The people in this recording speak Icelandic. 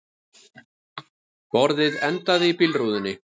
Borðið endaði í bílrúðunni